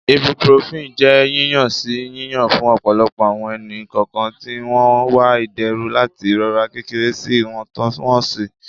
Ibuprofen jẹ yiyan-si yiyan fun ọpọlọpọ awọn ẹni-kọọkan ti n wa iderun lati irora kekere si iwọntunwọnsi